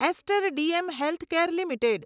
ester DM healthcare limited